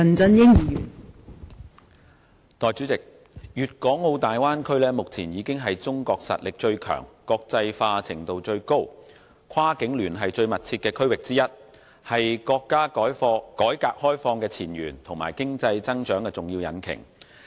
代理主席，粵港澳大灣區目前已經是中國實力最強、國際化程度最高、跨境聯繫最密切的區域之一，是國家改革開放的前沿和經濟增長的重要引擎。